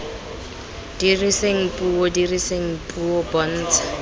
diriseng puo diriseng puo bontsha